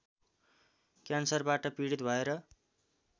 क्यान्सरबाट पीडित भएर